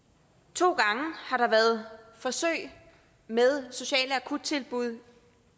to gange været forsøg med sociale akuttilbud